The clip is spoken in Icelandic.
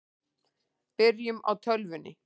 Byrjum á tölvunni.